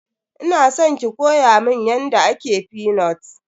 Ina san ki koya mun yadda ake fenut.